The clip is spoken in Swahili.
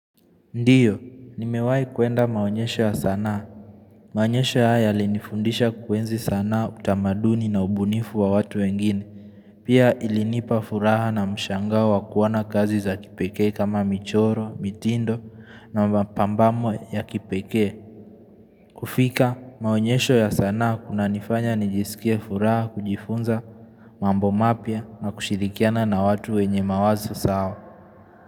Ndiyo, nimewahi kuenda maonyesho ya sanaa. Maonyesho haya yalinifundisha kuenzi sanaa, utamaduni na ubunifu wa watu wengine. Pia ilinipa furaha na mshangao wa kuona kazi za kipekee kama michoro, mitindo na mapambamo ya kipekee. Kufika, maonyesho ya sanaa hunanifanya nijisikie furaha kujifunza. Mambo mapya na kushirikiana na watu wenye mawazo sawa.